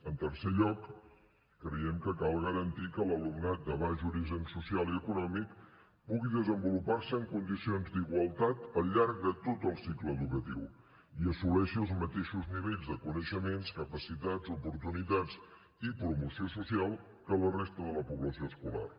en tercer lloc creiem que cal garantir que l’alumnat de baix origen social i econòmic pugui desenvolupar se en condicions d’igualtat al llarg de tot el cicle educatiu i assoleixi els mateixos nivells de coneixements capacitats oportunitats i promoció social que la resta de la població escolar